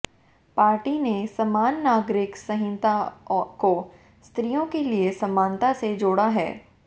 party ने समान नागरिक संहिता को स्त्रियों के लिए समानता से जोड़ा है